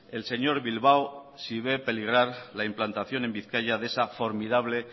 el señor bilbao si ve peligrar la implantación en bizkaia de esa formidable